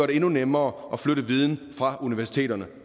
det endnu nemmere at flytte viden fra universiteterne